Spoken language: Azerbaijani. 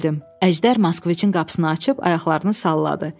Əjdər Moskvicin qapısını açıb ayaqlarını salladı.